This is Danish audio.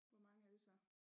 Hvor mange er det så